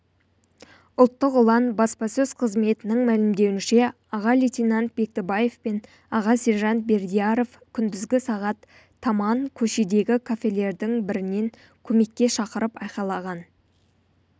ұлттық ұлан баспасөз қызметінің мәлімдеуінше аға лейтенант бектібаев пен аға сержант бердияров күндізгі сағат таман көшедегі кафелердің бірінен көмекке шақырып айқайлаған